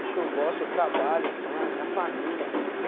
É o que eu gosto, eu trabalho, pã, minha família.